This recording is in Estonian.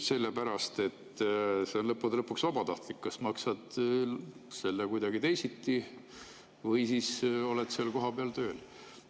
Sellepärast, et see on lõppude lõpuks vabatahtlik, kas sa maksad selle eest kuidagi teisiti või oled seal kohapeal tööl.